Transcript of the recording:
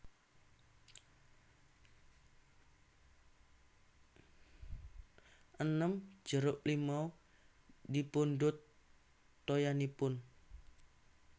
enem jeruk limau dipundhut toyanipun